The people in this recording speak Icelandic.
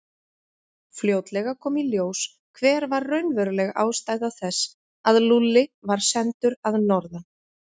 Fljótlega kom í ljós hver var raunveruleg ástæða þess að Lúlli var sendur að norðan.